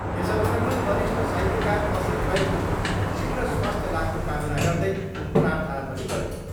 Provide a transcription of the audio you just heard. यस अवसरमा वरिष्ट साहित्यकार असीत राईको शीघ्र स्वास्थ्य लाभको कामना गर्दै प्रार्थना पनि गरियो।